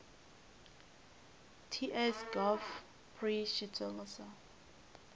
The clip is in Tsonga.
ts gov pri xitsonga sal